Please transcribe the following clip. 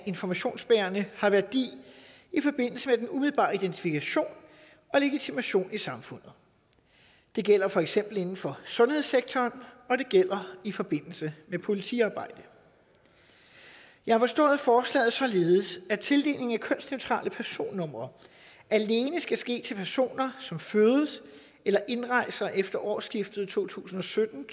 informationsbærende har værdi i forbindelse med den umiddelbare identifikation og legitimation i samfundet det gælder for eksempel inden for sundhedssektoren og det gælder i forbindelse med politiarbejde jeg har forstået forslaget således at tildelingen af kønsneutrale personnumre alene skal ske til personer som fødes eller indrejser efter årsskiftet to tusind og sytten